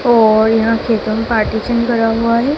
और यहां ख़तम पार्टीशन भरा हुआ हैं।